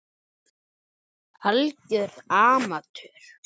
Algjör amatör.